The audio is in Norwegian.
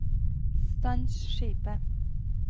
stans skipet